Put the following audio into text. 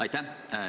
Aitäh!